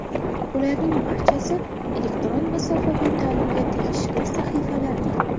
Ularning barchasi elektron masofaviy ta’limga tegishli sahifalardir.